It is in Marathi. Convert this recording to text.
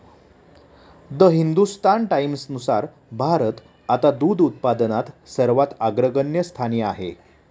द हिंदुस्तान टाईम्सनुसार भारत आता दूध उत्पादनात सर्वात अग्रगण्य स्थानी आहे.